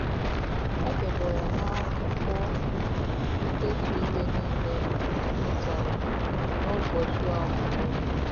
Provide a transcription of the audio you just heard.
Edebere m akwụkwọ ndetu ihe niile m mụtara n’ụbọchị ọmụmụ m.